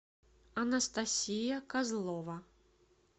анастасия козлова